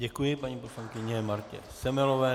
Děkuji paní poslankyni Martě Semelové.